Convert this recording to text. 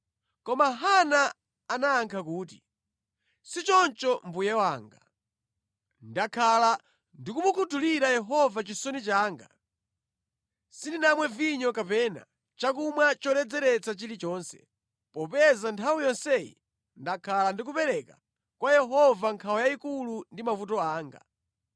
Koma Hana anayankha kuti, “Sichoncho mbuye wanga. Ndakhala ndikumukhuthulira Yehova chisoni changa. Sindinamwe vinyo kapena chakumwa choledzeretsa chilichonse, popeza nthawi yonseyi ndakhala ndikupereka kwa Yehova nkhawa yayikulu ndi mavuto anga.